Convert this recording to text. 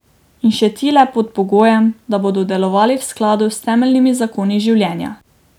In še ti le pod pogojem, da bodo delovali v skladu s temeljnimi zakoni Življenja.